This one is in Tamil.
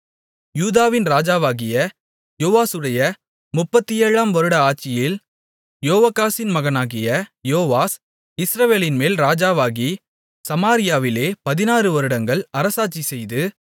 யூதாவின் ராஜாவாகிய யோவாசுடைய முப்பத்தேழாம் வருட ஆட்சியில் யோவாகாசின் மகனாகிய யோவாஸ் இஸ்ரவேலின்மேல் ராஜாவாகி சமாரியாவிலே பதினாறுவருடங்கள் அரசாட்சிசெய்து